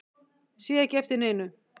Sé ekki eftir neinu